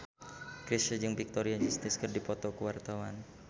Chrisye jeung Victoria Justice keur dipoto ku wartawan